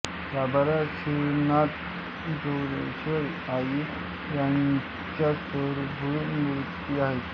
गाभाऱ्यात श्रीनाथ जोगेश्वरी आई यांच्या स्वयंभू मूर्ती आहेत